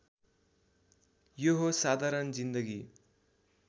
यो हो साधारण जिन्दगी